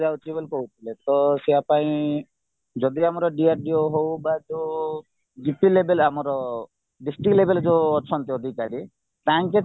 ବୋଲି କହୁଥିଲେତ ପାଇଁ ଯଦି ଆମର DRDO ହଉ ବା ଯୋଉ level ଆମର district level ଯୋଉ ଅଛନ୍ତି ଅଧିକାରୀ ତାଙ୍କେ